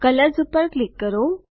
colours પર click કરો